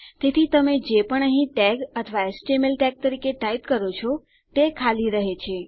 તેથી તમે જે પણ અહીં ટેગ અથવા એચટીએમએલ ટેગ તરીકે ટાઈપ કરો છો તે ખાલી રહે છે